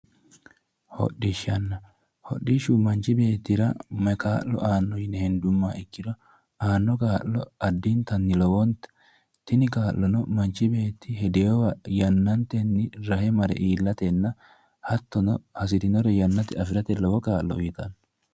Hodhishsha, hodhishshu manchi beettira maa kaa'lo aanno yine hendummoha ikkiro aanno kaa'lo addintanni lowote, tini kaa'lo manchi beetyi hedeewa yannaantenni rahe mare iillatenna hattono hasi'rinore rahotenni afi'rate lowo kaa'lo uytanno.